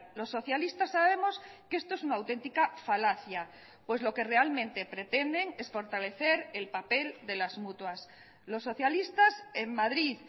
los socialistas sabemos que esto es una auténtica falacia pues lo que realmente pretenden es fortalecer el papel de las mutuas los socialistas en madrid